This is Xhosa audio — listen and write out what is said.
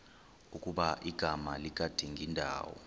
ukuba igama likadingindawo